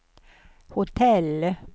hotell